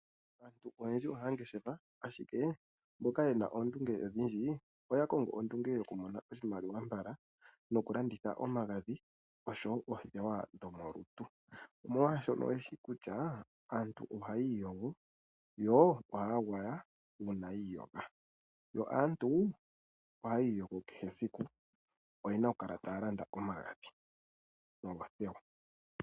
Aantu oyendji oha ya ngeshefa, ashike mboka ye na oondunge odhindji oya kongo ondunge yo ku mona oshimaliwa mbala no ku landitha omagadhi oshowo oothewa dho molutu , mo lwaashono ye shi kutya aantu o ha ya iyogo yo oha ya gwaya ngele yi iyogo . Yo aantu oha yii yogo kehe esiku oye na okukala ta ya landa omagadhi noothewa.